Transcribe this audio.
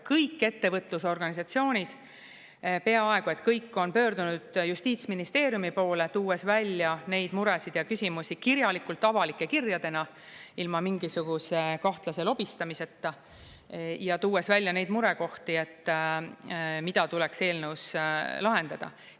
Kõik ettevõtlusorganisatsioonid – peaaegu kõik – on pöördunud justiitsministeeriumi poole, tuues välja neid muresid ja küsimusi kirjalikult, avalike kirjadena, ilma mingisuguse kahtlase lobistamiseta, ja tuues välja neid murekohti, mida tuleks eelnõus lahendada.